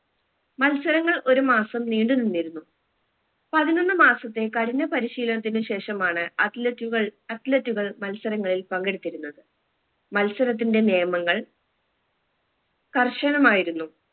മത്സരങ്ങൾ ഒരു മാസം നീണ്ടു നിന്നിരുന്നു പതിനൊന്ന് മാസത്തെ കഠിന പരിശീലനത്തിന് ശേഷമാണ് athlete കൾ athlete കൾ മത്സരങ്ങളിൽ പങ്കെടുത്തിരുന്നത് മത്സരത്തിന്റെ നിയമങ്ങൾ കർശനമായിരുന്നു